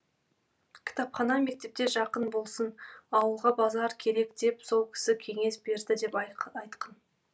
кітапхана мектепке жақын болсын ауылға базар керек деп сол кісі кеңес берді деп айтқын